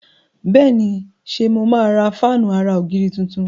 Béèni ṣe mo má rà Fáànù àrà ògiri títún.